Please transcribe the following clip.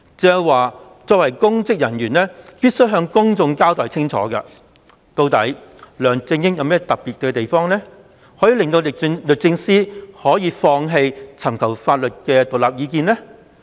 鄭若驊作為公職人員，必須向公眾清楚交代究竟梁振英有何特別之處，以致律政司放棄尋求獨立的法律意見。